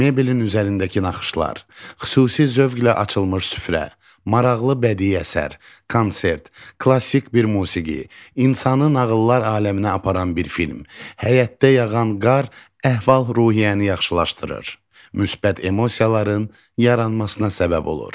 Mebelin üzərindəki naxışlar, xüsusi zövqlə açılmış süfrə, maraqlı bədi əsər, konsert, klassik bir musiqi, insanı nağıllar aləminə aparan bir film, həyətdə yağan qar əhval-ruhiyyəni yaxşılaşdırır, müsbət emosiyaların yaranmasına səbəb olur.